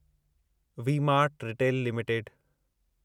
V mart retail limited